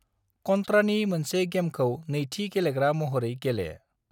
कन्ट्रानि मोनसे गेमखौ नैथि गेलेग्रा महरै गेले।